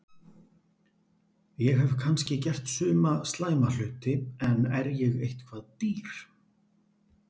Ég hef kannski gert suma slæma hluti en er ég eitthvað dýr?